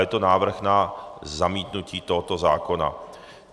Je to návrh na zamítnutí tohoto zákona.